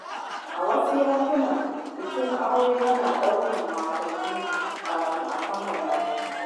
A wasu yankuna, bikin aure yana ɗaukar makonni kafin a kammala shi.